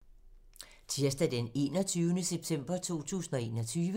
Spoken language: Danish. Tirsdag d. 21. september 2021